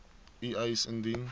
u eis indien